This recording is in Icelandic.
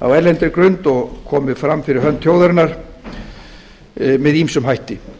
á erlendri grund og komið fram fyrir hönd þjóðarinnar með ýmsum hætti